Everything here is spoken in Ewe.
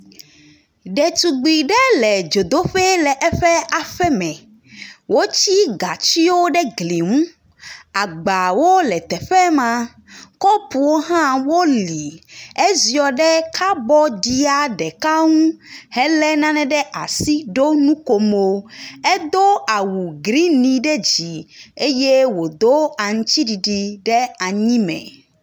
Ɖetugbui ɖe le dzodoƒe le eƒe aƒe me. Wotsi gatsiwo ɖe gli ŋu, agbawo le teƒe ma, kɔpuwo hã woli. Eziɔ ɖe kabɔɖia ɖeka ŋu helé nane ɖe asi ɖo nukomo. Edo awu grini ɖe dzi eye wòdo aŋutsi ɖiɖi ɖe anyime.